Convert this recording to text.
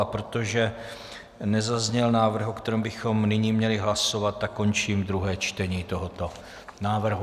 A protože nezazněl návrh, o kterém bychom nyní měli hlasovat, tak končím druhé čtení tohoto návrhu.